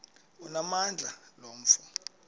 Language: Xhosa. onamandla lo mfo